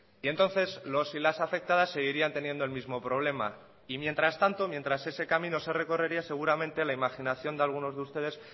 y entonces los y las afectadas seguirían teniendo el mismo problema y mientras tanto mientras ese camino se recorrería seguramente la imaginación de algunos de ustedes